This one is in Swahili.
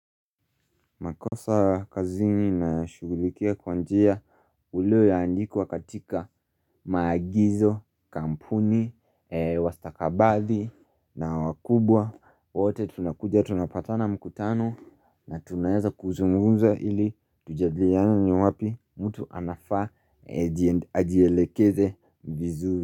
Makosa kazini na shugulikia kwa njia ulio aandikwa katika magizo, kampuni, wastakabadhi na wakubwa. Wote tunakuja, tunapatana mkutano na tunaeza kuzungunza ili tujadiliane ni wapi mtu anafaa ajielekeze vizuri.